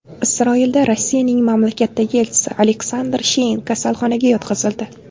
Isroilda Rossiyaning mamlakatdagi elchisi Aleksandr Shein kasalxonaga yotqizildi.